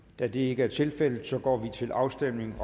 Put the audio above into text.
da det ikke er tilfældet går vi til afstemning